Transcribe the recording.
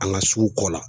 An ka sugu kɔ la